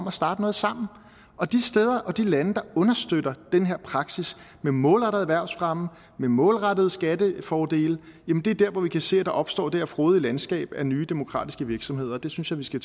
at starte noget sammen og de steder og de lande der understøtter den her praksis med målrettet erhvervsfremme med målrettede skattefordele er der hvor vi kan se at der opstår det her frodige landskab af nye demokratiske virksomheder og det synes jeg vi skal